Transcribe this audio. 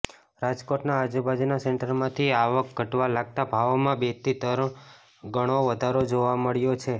રાજકોટના આજુબાજુના સેન્ટરમાંથી આવક ઘટવા લાગતા ભાવોમાં બેથી તરણ ગણો વધારો જોવા મળ્યો છે